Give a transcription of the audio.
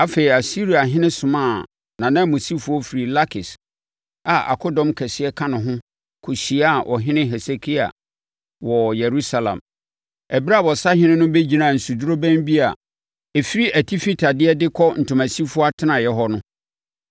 Afei, Asiriahene somaa nʼananmusifoɔ firi Lakis a akodɔm kɛseɛ ka ne ho kɔhyiaa Ɔhene Hesekia wɔ Yerusalem. Ɛberɛ a ɔsahene no bɛgyinaa nsudorobɛn bi a ɛfiri Atifi Tadeɛ de kɔ Ntomasifoɔ Atenaeɛ hɔ no,